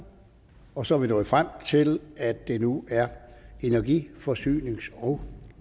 og så er vi nået frem til at det nu er energi forsynings og